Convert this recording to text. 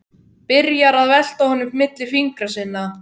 Byrjar að velta honum milli fingra sinna.